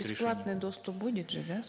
бесплатный доступ будет же да